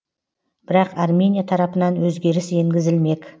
бірақ армения тарапынан өзгеріс енгізілмек